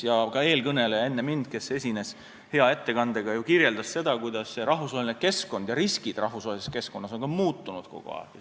Eelkõneleja, kes esines hea ettekandega, ju kirjeldas seda, kuidas rahvusvaheline keskkond ja sealsed riskid on kogu aeg muutunud.